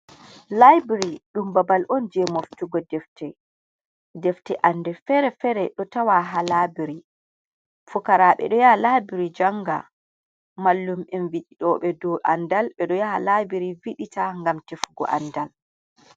Laibiri ɗum babal on je moftugo fdefte anɗe fere-fere, ɗo tawa ha laabiri, fukara ɓe ɗo yaha labiri janga, mallum'en viditoɓe dou andal, ɓe ɗo yaha labiri vidita ngam tefugo andal.